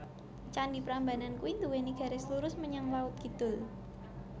Candi Prambanan kui nduweni garis lurus menyang laut kidul